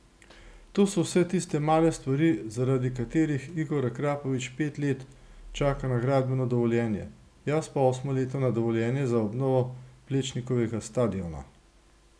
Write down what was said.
To so vse tiste male stvari, zaradi katerih Igor Akrapovič pet let čaka na gradbeno dovoljenje, jaz pa osmo leto na dovoljenje za obnovo Plečnikovega stadiona.